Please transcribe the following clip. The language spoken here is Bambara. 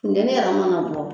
Funteni yɛrɛ mana bɔ